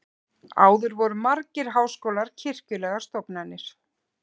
áður voru margir háskólar kirkjulegar stofnanir